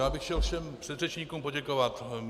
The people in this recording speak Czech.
Já bych chtěl všem předřečníkům poděkovat.